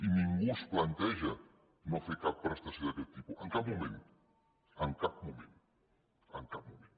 i ningú es planteja no fer cap prestació d’aquest tipus en cap moment en cap moment